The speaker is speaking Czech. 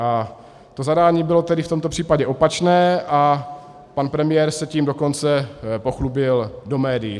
A to zadání bylo tedy v tomto případě opačné, a pan premiér se tím dokonce pochlubil do médií.